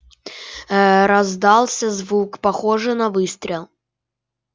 ээ раздался звук похожий на выстрел